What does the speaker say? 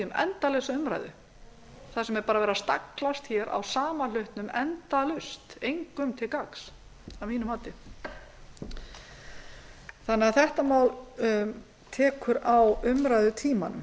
endalausa umræðu þar sem er bara verið að staglast á sama hlutnum endalaust engum til gagns að mínu mati þetta mál tekur á umræðutímann